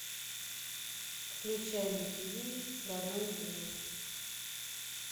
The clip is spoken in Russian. включай на тиви родное кино